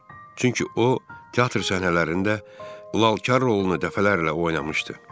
Çünki o, teatr səhnələrində Lalkar rolunu dəfələrlə oynamışdı.